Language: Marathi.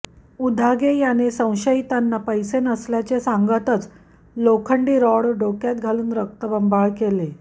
उदागे याने संशयितांना पैसे नसल्याचे सांगताच लोखंडी रॉड डोक्यात घालून रक्तबंबाळ केले